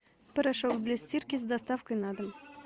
порошок для стирки с доставкой на дом